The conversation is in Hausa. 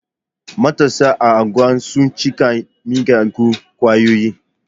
Matasa a anguwana sun cikin miyagun kwayoyi.